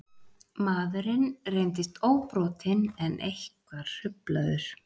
Maðurinn reyndist óbrotinn en eitthvað hruflaður